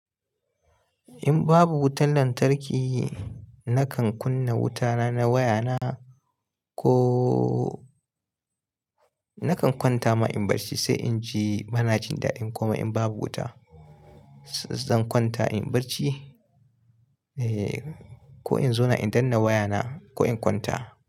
In babu wutan lantarki, nakan kunna wutana na wayana ko nakan kwanta ma in bar shi sai in ji bana jin daɗi kuma in babu wuta zan kwanta in bacci eh ko in zauna in danna wayana ko in kwanta.